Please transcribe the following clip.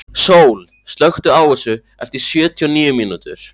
Sól, slökktu á þessu eftir sjötíu og níu mínútur.